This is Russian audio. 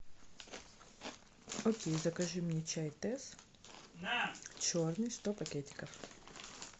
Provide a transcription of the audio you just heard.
окей закажи мне чай тесс черный сто пакетиков